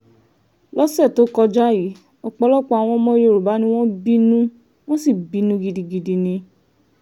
lọ́sẹ̀ tó kọjá yìí ọ̀pọ̀lọpọ̀ àwọn ọmọ yorùbá ni wọ́n bínú wọ́n sì bínú gidigidi ni